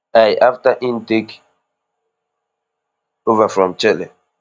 i afta im take ova from chelle